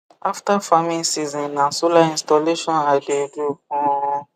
after farming season na solar installation i de do um